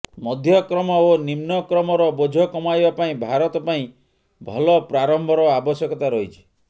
ମଧ୍ୟକ୍ରମ ଓ ନିମ୍ନକ୍ରମର ବୋଝ କମାଇବା ପାଇଁ ଭାରତ ପାଇଁ ଭଲ ପ୍ରାରମ୍ଭର ଆବଶ୍ୟକତା ରହିଛି